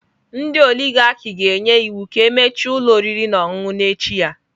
Ndị oligarch ga-enye iwu ka emechie ụlọ oriri na ọṅụṅụ n'echi ya.